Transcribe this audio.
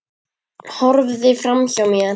Horfði framhjá mér.